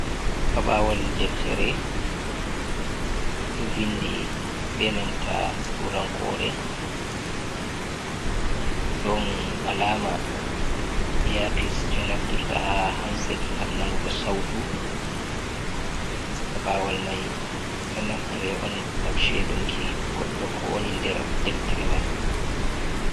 Pabawal deftere ɗo vindi be nanta turankore ɗon alama apis je naftirta ha hansed gam nanugo sautu pabawal mai ɗo naftere on gam shedunki goɗɗo ko woni der deftere man.